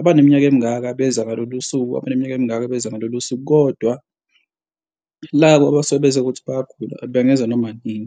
abaneminyaka emingaka beza ngalolu suku abaneminyaka emingaka beza ngalolo suku. Kodwa labo abasuke beze ngokuthi bayagula bangeza noma inini,